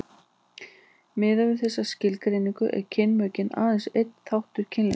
miðað við þessa skilgreiningu eru kynmökin aðeins einn þáttur kynlífsins